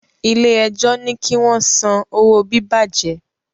ilé ẹjọ ní kí wón son owo bibajẹ